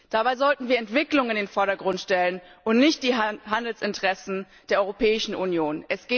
Dabei sollten wir Entwicklungen in den Vordergrund stellen und nicht die Handelsinteressen der Europäischen Union.